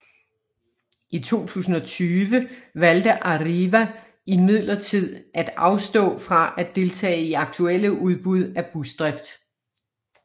I 2020 valgte Arriva imidlertid at afstå fra at deltage i aktuelle udbud af busdrift